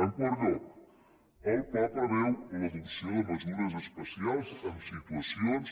en quart lloc el pla preveu l’adopció de mesures especials en situacions